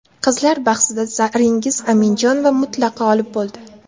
Qizlar bahsida Zaringiz Aminjonova mutlaq g‘olib bo‘ldi.